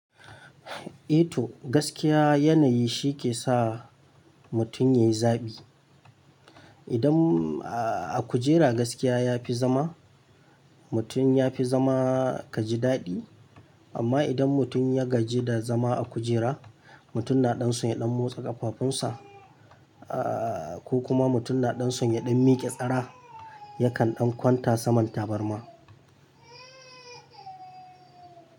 Eh to, gaskiya yanayi shi ke sa mutum ya yi zaɓi. Idan, ah, a akujera gaskiya ya fi zama, mutum ya fi zama ka ji daɗi. Amma idan mutum ya gaji da zama a kujera, mutum na ɗan son ya ɗan motsa ƙafafunsa, ah, ko kuma mutum na ɗan son ya ɗan miƙe tsara, yakan ɗan kwanta saman tabarma.